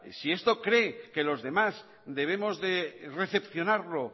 si esto cree que los demás debemos de recepcionarlo